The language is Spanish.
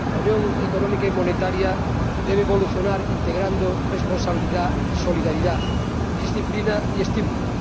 La Unión Económica y Monetaria debe evolucionar integrando responsabilidad y solidaridad, disciplina y estímulo.